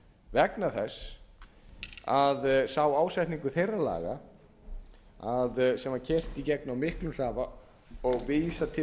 vegna þess að sá ásetningur þeirra laga sem var keyrt í gegn á miklum hraða og vísað til